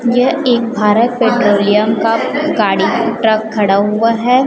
यह एक भारत पेट्रोलियम का गाड़ी ट्रक खड़ा हुआ है।